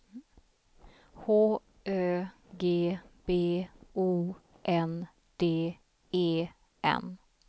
H Ö G B O N D E N